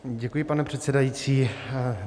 Děkuji, pane předsedající.